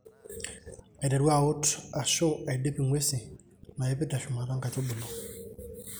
Aiteru aut ashu aidip ngwesi naipid teshumata nkaitubulu.